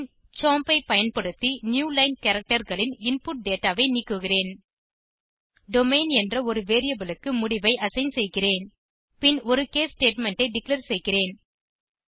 பின் chomp ஐ பயன்படுத்தி new line characterகளின் இன்புட் டேட்டா ஐ நீக்குகிறேன் டொமெயின் என்ற ஒரு வேரியபிள் க்கு முடிவை அசைன் செய்கிறேன் பின் ஒரு கேஸ் ஸ்டேட்மெண்ட் ஐ டிக்ளேர் செய்கிறேன்